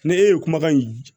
Ne e ye kumakan in